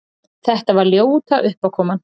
Þetta var ljóta uppákoman!